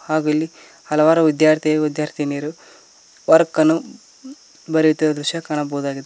ಹಾಗೂ ಇಲ್ಲಿ ಹಲವಾರು ವಿದ್ಯಾರ್ಥಿ ವಿದ್ಯಾರ್ಥಿನಿಯರು ವರ್ಕ್ ಅನ್ನು ಬರೆಯುತ್ತಿರುವ ದೃಶ್ಯ ಕಾಣಬಹುದಾಗಿದೆ.